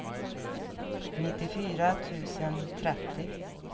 nittiofyra tusen trettio